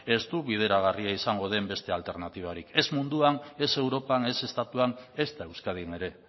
ez du bideragarria izango den beste alternatibarik ez munduan ez europan ez estatuan ezta euskadin ere